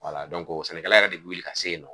sɛnɛkɛla yɛrɛ de bi wuli ka se yen nɔ